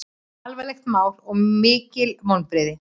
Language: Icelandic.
Alvarlegt mál og mikil vonbrigði